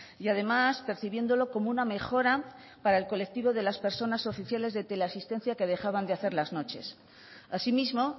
y además percibiéndolo como una mejora para el colectivo de las personas oficiales de teleasistencia que dejaban de hacer las noches asimismo